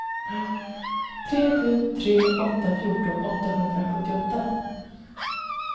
tre sju tre åtta fjorton åttahundrasjuttioåtta